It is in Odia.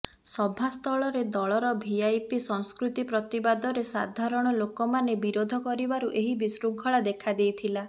ସଭାସ୍ଥଳରେ ଦଳର ଭିଆଇପି ସଂସ୍କୃତି ପ୍ରତିବାଦରେ ସାଧାରଣ ଲୋକମାନେ ବିରୋଧ କରିବାରୁ ଏହି ବିଶୃଙ୍ଖଳା ଦେଖାଦେଇଥିଲା